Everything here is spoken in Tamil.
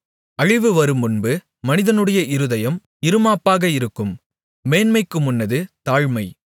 அழிவு வருமுன்பு மனிதனுடைய இருதயம் இறுமாப்பாக இருக்கும் மேன்மைக்கு முன்னானது தாழ்மை